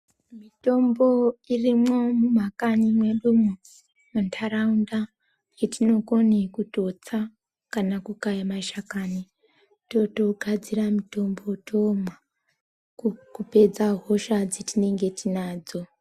Mitombo irimwo mumakanyi mwedumo muntaraunda yetinokone kutotsa kana kukaya mashakani totogadzira mutombo tomwa kupedza hosha dzatinenge tinadzo.